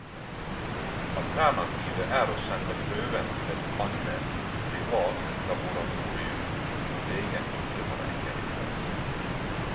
Alternativet er å sende prøven til et annet, privat laboratorium hvor legen ikke har eierinteresser.